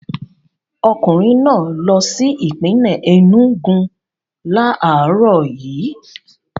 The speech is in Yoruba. Ọkùnrin náà lọ sí ìpínlè Enúgu láàárọ̀ yìí.